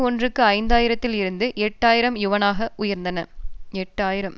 ஒன்றுக்கு ஐந்து ஆயிரத்தில் இருந்து எட்டு ஆயிரம் யுவானாக உயர்ந்தன எட்டு ஆயிரம்